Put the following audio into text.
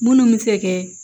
Munnu bɛ se kɛ